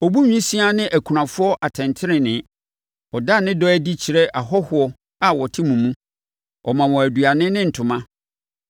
Ɔbu nwisiaa ne akunafoɔ atɛntenenee. Ɔda ne dɔ adi kyerɛ ahɔhoɔ a wɔte mo mu. Ɔma wɔn aduane ne ntoma.